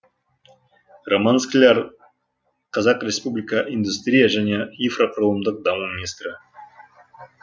роман скляр қазақ республика индустрия және инфрақұрылымдық даму министрі